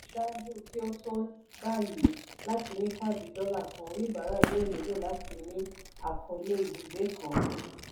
ṣáájú kí o tó báyìí láti ní káàdì dọ́là kàn oníbàárà yóò nílò láti ní àkọọlé ibùgbé kan.